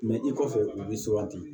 i kɔfɛ u bi suganti